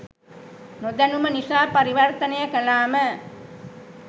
නොදැනුම නිසා පරිවර්තනය කලාම